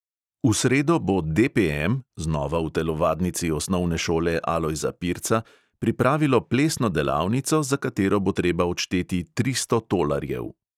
V sredo bo DPM – znova v telovadnici osnovne šole alojza pirca – pripravilo plesno delavnico, za katero bo treba odšteti tristo tolarjev.